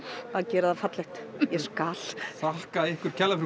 geri það fallegt ég skal þakka ykkur kærlega